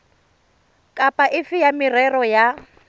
kapa efe ya merero ya